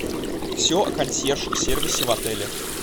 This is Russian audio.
все о консьерж сервисе в отеле